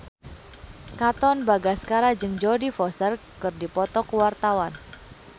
Katon Bagaskara jeung Jodie Foster keur dipoto ku wartawan